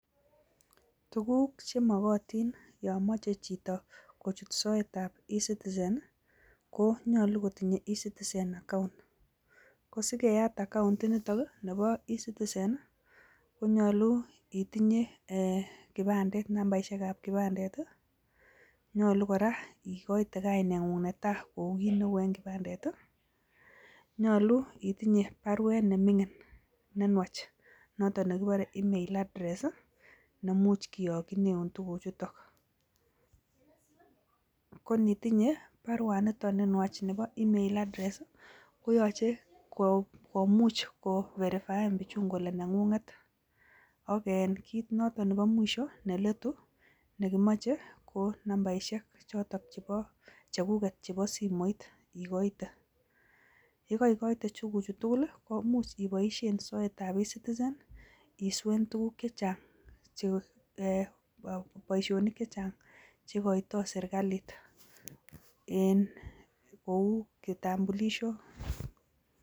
Tuguuk chemokotiin yomoche chito kochut ecitizen i,konyolu kotinye ecitizen account, kosigeat account nebo ecitizen konyolu itindoi kipandet, nambaisiek ab kipandet, nyolu kora ikoite kainengung netai koukit neu en kipandet i,nyolu itinye baruet nemingiin nenwach notok nekiboore email address nemuch kiyokchineu tuguuchuton. Konitinye baruani nitok nenwach Nebo email koyoche komuch koverifaen bichun kole nengunget. Ak kit notok nebo mwisho neletu nekimoche ko nambaisiek chotok chekuket chebo simoit, ikoite, yekeikoite tuguuchutugul ko imuch iboishien soetab ecitizen iswee boishonik chechang chekeito serkalit kou kipandet